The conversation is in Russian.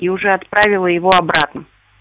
и уже отправила его обратно